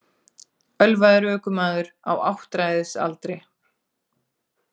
Ölvaður ökumaður á áttræðisaldri